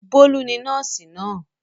Bólú ni nọ́ọ́sì náà.